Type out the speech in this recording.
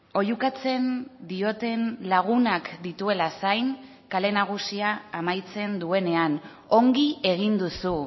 oihukatzen dioten lagunak dituela zain kale nagusia amaitzen duenean ongi egin duzu